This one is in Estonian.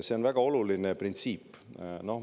See on väga oluline printsiip.